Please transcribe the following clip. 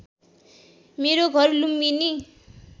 मेरो घर लुम्बिनी